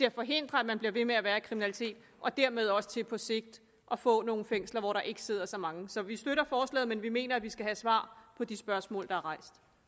at forhindre at man bliver ved med at være i kriminalitet og dermed også til på sigt at få nogle fængsler hvor der ikke sidder så mange så vi støtter forslaget men vi mener vi skal have svar på de spørgsmål der